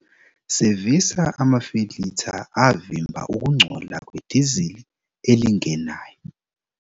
Sevisa amafiltha avimba ukungcola kwedizili elingenayo.